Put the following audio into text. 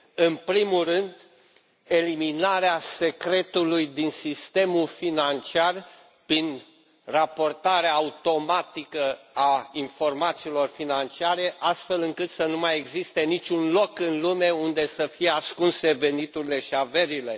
În primul rând, eliminarea secretului din sistemul financiar prin raportarea automată a informațiilor financiare astfel încât să nu mai existe niciun loc în lume unde să fie ascunse veniturile și averile.